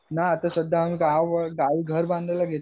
ना आत्ता सध्या आम्ही गावावर गांवी घर बांधायला घेतलाना